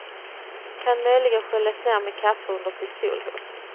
Kan möjligen sköljas ned med kaffe under pistolhot.